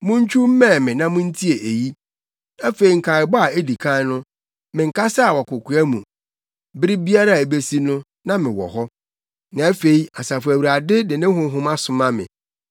“Montwiw mmɛn me na muntie eyi: “Efi nkaebɔ a edi kan no, menkasaa wɔ kokoa mu; bere biara a ebesi no, na mewɔ hɔ.” Na afei Asafo Awurade de ne Honhom asoma me.